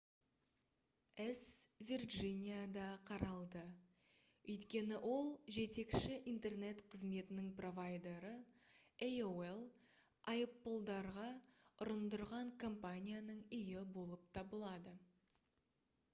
іс вирджинияда қаралды өйткені ол жетекші интернет қызметінің провайдері aol айыппұлдарға ұрындырған компанияның үйі болып табылады